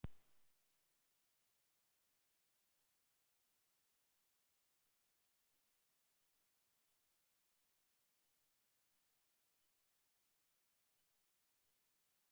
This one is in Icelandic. þau lifa meðal annars á hrjóstrugum svæðum við jaðra eyðimarka namibíu